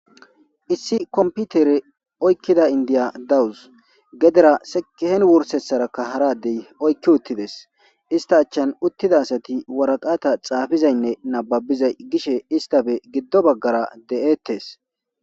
Issi komputere oykkida indiya dawus gedera sekehen wursetsarakka haradey oykki uttides ista achchan uttida asati waraqata xaafizaynne nababizay gishe istafe giddo baggara de'ettes.